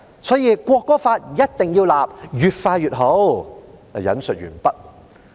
所以一定要就國歌立法，越快越好。